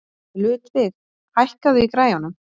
Ludvig, hækkaðu í græjunum.